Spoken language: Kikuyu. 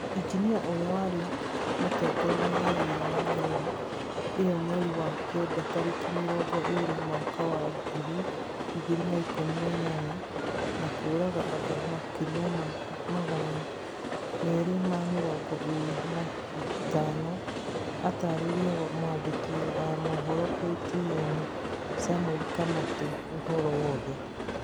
Injinia ũrĩa warĩ mũtongoria wa wĩra wa meri ĩyomweri wa kenda tarĩki mĩrongo ĩrĩ mwaka wa ngiri igĩrĩ na ikũmi na inyanya na kũraga andũ makĩria ya magana merĩ ma mĩrongo ĩrĩ na ithano atarĩirie mwandĩki a mohoro a KTN samuel kamatu ũhoro wothe